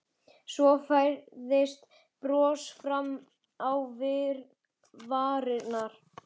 Svo færðist bros fram á varirnar.